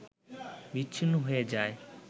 বিচ্ছিন্ন হয়ে যায়